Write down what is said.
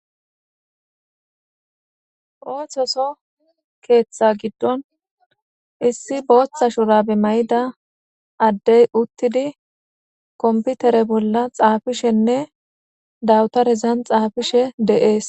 ooththoso keeththa giddon issi booththa shurabe mayida addey uttidi komputere bolla xaafishenne dawutarezan xaafishe deees.